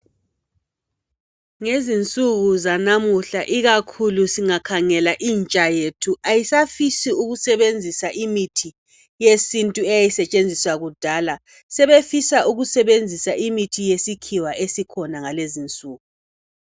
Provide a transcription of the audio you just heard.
Ngezinsuku zanamuhla ikakhulu singakhangela intsha yethu ayisafisi ukusebenzisa imithi yesintu eyayisetshenziswa kudala. Sebefisa ukusebenzisa imithi yesikhiwa esikhona ngalezi insuku.